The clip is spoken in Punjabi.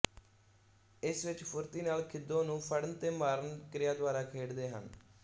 ਇਸ ਵਿੱਚ ਫੁਰਤੀ ਨਾਲ ਖੀਦੋ ਨੂੰ ਫੜਨ ਤੇ ਮਾਰਨ ਕ੍ਰਿਆ ਦੁਆਰਾ ਖੇਡਦੇ ਹਨ